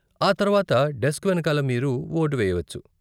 ఆ తర్వాత డెస్క్ వెనకాల మీరు వోటు వేయవచ్చు.